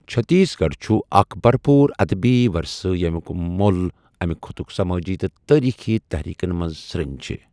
چھتیس گڑھ چُھ اکھ برپوٗر ادبی ورثہٕ ییٚمِیُک مۄل امہِ خٕطک سمٲجی تہٕ تٲریٖخی تحریٖکن منٛز سرٛنۍ چھِ۔